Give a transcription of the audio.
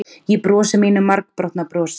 Ég brosi mínu margbrotna brosi.